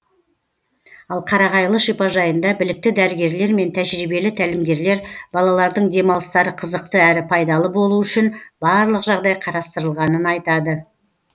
ал қарағайлы шипажайында білікті дәрігерлер мен тәжірибелі тәлімгерлер балалардың демалыстары қызықты әрі пайдалы болуы үшін барлық жағдай қарастырылғанын айтады